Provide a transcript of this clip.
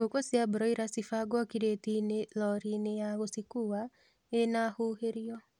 Ngũkũ cia broila cĩbangwo kiretiinĩ loriinĩ ya gũshikua ĩna huhĩrio